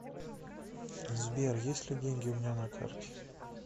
сбер есть ли деньги у меня на карте